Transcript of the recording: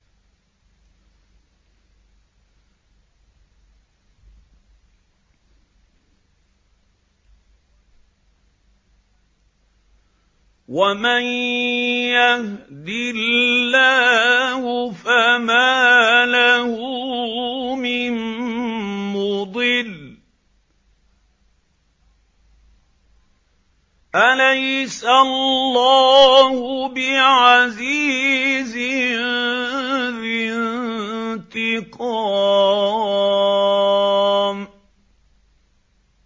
وَمَن يَهْدِ اللَّهُ فَمَا لَهُ مِن مُّضِلٍّ ۗ أَلَيْسَ اللَّهُ بِعَزِيزٍ ذِي انتِقَامٍ